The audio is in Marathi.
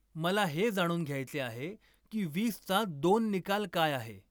मला हे जाणून घ्यायचे आहे की वीसचा दोन निकाल काय आहे